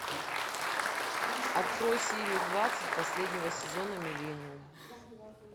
открой серию двадцать последнего сезона миллениум